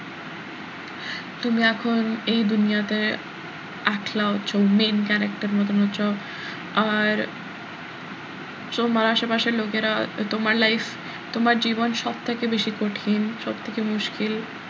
তুমি এখন এই দুনিয়াতে একলা হচ্ছো main character এর মতন হচ্ছো আর তোমার আশেপাশের লোকেরা তোমার life তোমার জীবন সব থেকে বেশি কঠিন সবথেকে মুশকিল,